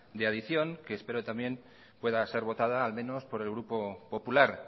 de adicción que espero también pueda ser votada al menos por el grupo popular